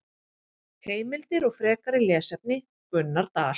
Heimildir og frekari lesefni: Gunnar Dal.